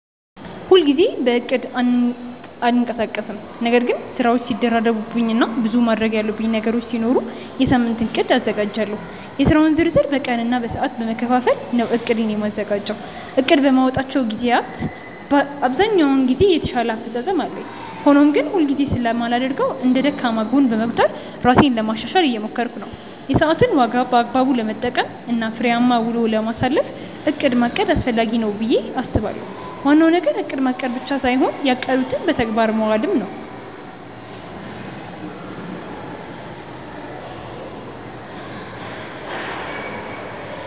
ሁል ጊዜ በእቅድ አልንቀሳቀስም ነገር ግን ስራዎች ሲደራረቡብኝ እና ብዙ ማድረግ ያሉብኝ ነገሮች ሲኖሩ የሳምንት እቅድ አዘጋጃለሁ። የስራውን ዝርዝር በቀን እና በሰዓት በመከፋፈል ነው እቅዴን የማዘጋጀው። እቅድ በማወጣባቸው ግዜያት ብዛኛውን ጊዜ የተሻለ አፈፃፀም አለኝ። ሆኖም ግን ሁል ጊዜ ስለማላደርገው እንደ ደካማ ጎን በመቁጠር ራሴን ለማሻሻሻል እየሞከርኩ ነው። የሰዓትን ዋጋ በአግባቡ ለመጠቀም እና ፍሬያማ ውሎ ለማሳለፍ እቅድ ማቀድ አስፈላጊ ነው ብዬ አስባለሁ። ዋናው ነገር እቅድ ማቀድ ብቻ ሳይሆን ያቀዱትን በተግባር ማዋል ነው።